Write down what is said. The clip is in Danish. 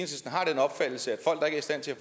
stand til at